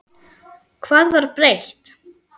Hvað var breytt?